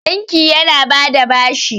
banki yana ba da bashi